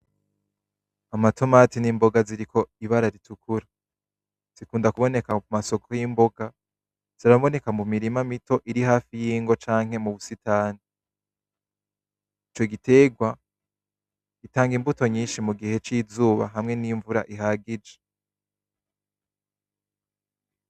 Amatomati nimboga ziriko ibara ritukura, zikunda kuboneka kumasoko yimboga, ziraboneka mumirima iri hafi y'ingo canke mubusitani. Ico giterwa gitanga imbuto nyinshi mugihe cizuba hamwe nimvura ihagije.